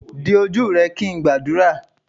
di oju rẹ kin ngbadura.